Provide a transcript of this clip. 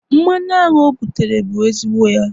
mmanụ aṅụ o butere bụ ezigbo ya